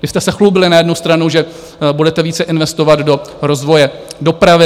Vy jste se chlubili na jednu stranu, že budete více investovat do rozvoje dopravy.